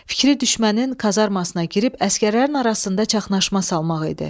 Fikri düşmənin kazarmasına girib əsgərlərin arasında çaşqınlıq salmaq idi.